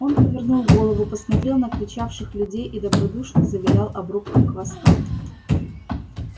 он повернул голову посмотрел на кричавших людей и добродушно завилял обрубком хвоста